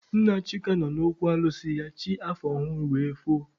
Nna Chika nọ n'okwu alụsị ya chi afọ ọhụrụ wee foo.